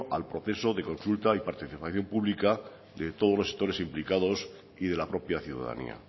al proceso de consulta y participación pública de todos los gestores implicados y de la propia ciudadanía